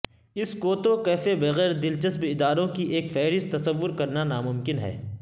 اس کوتو کیفے بغیر دلچسپ اداروں کی ایک فہرست تصور کرنا ناممکن ہے